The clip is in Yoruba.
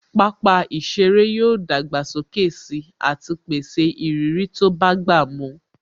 Pápá ìṣeré yóò dàgbà sókè sí àti pèsè ìrírí tó bá gbà mu